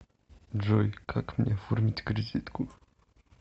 джой как мне оформить кредитку